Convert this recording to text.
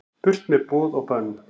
Burt með boð og bönn